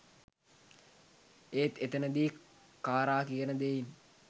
ඒත් එතනදි කාරා කියන දෙයින්